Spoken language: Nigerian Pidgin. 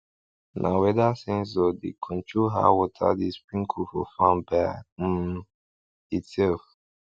na weather sensor dey control how water dey sprinkle for farm by um itself